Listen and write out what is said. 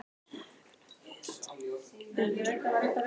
Fréttakona: Hefur þú talað við Ingibjörgu Sólrúnu um þetta?